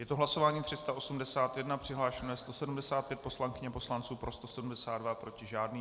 Je to hlasování 381, přihlášeno je 175 poslankyň a poslanců, pro 172, proti žádný.